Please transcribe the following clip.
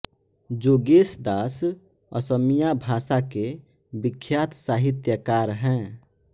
जोगेश दास असमिया भाषा के विख्यात साहित्यकार हैं